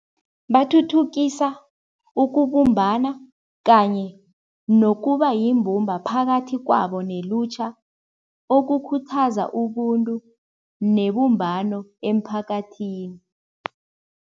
Bathuthukisa ukubumbana kanye nokuba yimbumba phakathi kwabo nelutjha. Okukhuthaza ubuntu nebumbano emphakathini.